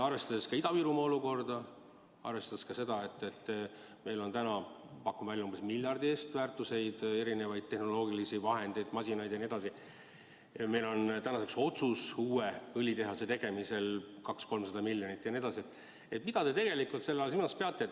Arvestades Ida-Virumaa olukorda, arvestades seda, et meil on, pakun välja, miljardi eest vara, erinevaid tehnoloogiaid, masinaid jne, arvestades seda, et tänaseks on otsus eraldada uue õlitehase jaoks 200–300 miljonit, mida te ikkagi silmas peate?